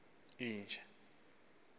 nayo inja leyo